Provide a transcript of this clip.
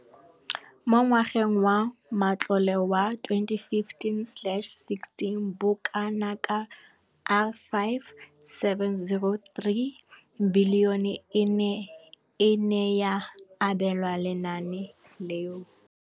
Mo ngwageng wa matlole wa 2015,16, bokanaka R5 703 bilione e ne ya abelwa lenaane leno.